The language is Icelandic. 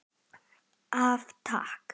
Af Takk.